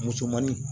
Musomanin